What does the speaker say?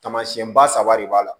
Taamasiyɛnba saba de b'a la